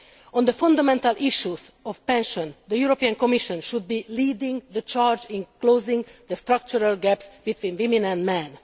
On the fundamental issue of pensions, the European Commission should be leading the charge in closing the structural gaps between women and men.